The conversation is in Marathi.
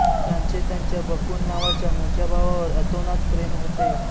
त्यांचे त्यांच्या बकुल नावाच्या मोठ्या भावावर अतोनात प्रेम होते